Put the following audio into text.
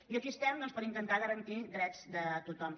i aquí estem doncs per intentar garantir drets de tothom